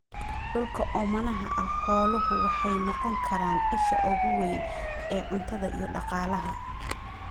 Dhulka oomanaha ah, xooluhu waxay noqon karaan isha ugu weyn ee cuntada iyo dhaqaalaha.